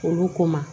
Olu ko ma